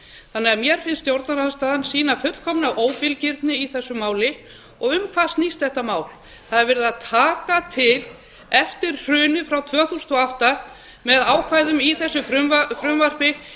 þannig að mér finnst stjórnarandstaðan sýna fullkomna óbilgirni í þessu máli og um hvað snýst þetta mál það er verið að taka til eftir hrunið frá tvö þúsund og átta með ákvæðum í þessu frumvarpi meðal annars í samræmi við